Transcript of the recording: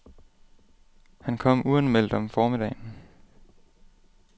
Han kom uanmeldt om formiddagen.